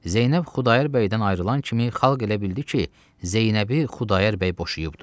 Zeynəb Xudayar bəydən ayrılan kimi xalq elə bildi ki, Zeynəbi Xudayar bəy boşayıbdır.